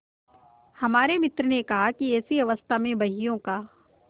हमारे मित्र ने कहा कि ऐसी अवस्था में बहियों का